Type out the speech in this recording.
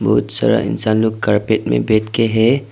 बहुत सारा इंसान लोग कारपेट में बैठ के हैं।